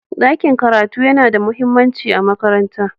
ɗakin karatu yana da mahimmanci a makaranta